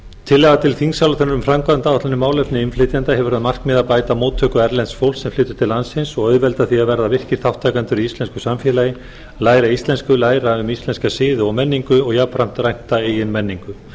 tillaga til þingsályktunar um framkvæmdaáætlun um í málefnum innflytjenda hefur að markmiði að bæta móttöku erlends fólks sem flytur til landsins og auðvelda því að verða virkir þátttakendur í íslensku samfélagi læra íslensku læra um íslenska siði og menningu og jafnframt rækta eigin menningu